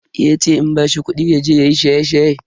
Yace in bashi kudi yaje yayi shaye-shaye.